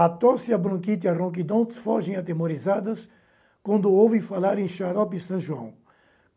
A tosse, a bronquite e a ronquidão fogem atemorizadas quando ouvem falar em Xarope e São João.